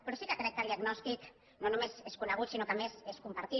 però sí que crec que el diagnòstic no només és conegut sinó que a més és compartit